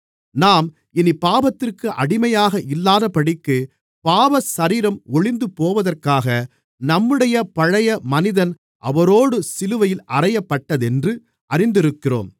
நாம் இனிப் பாவத்திற்கு அடிமையாக இல்லாதபடிக்கு பாவசரீரம் ஒழிந்துபோவதற்காக நம்முடைய பழைய மனிதன் அவரோடு சிலுவையில் அறையப்பட்டதென்று அறிந்திருக்கிறோம்